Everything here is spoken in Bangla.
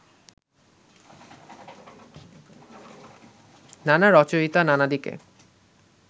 নানা রচয়িতা নানা দিকে